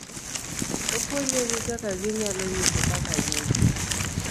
Opuonjogi kaka ginyalo nyiso kaka gin, .